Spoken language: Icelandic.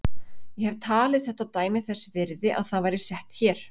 Ég hef talið þetta dæmi þess virði að það væri sett hér.